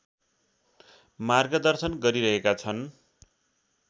मार्गदर्शन गरिरहेका छन्